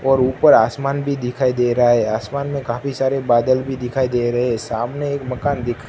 और ऊपर आसमान भी दिखाई दे रहा आसमान में काफी सारे बादल भी दिखाई दे रहे सामने एक मकान दिख--